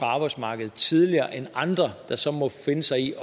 arbejdsmarkedet tidligere end andre der så må finde sig i